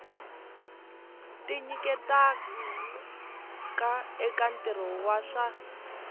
tinyiketaka eka ntirho wa swa